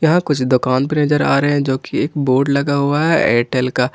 यहां कुछ दोकन नजर आ रहे हैं जो की बोर्ड लगा हुआ है एयरटेल का।